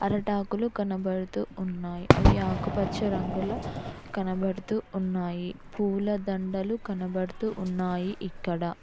అరెటాకులు కనబడుతూ ఉన్నాయ్ అవి ఆకుపచ్చ రంగులో కనబడుతూ ఉన్నాయి పూలదండలు కనబడుతూ వున్నాయి ఇక్కడ.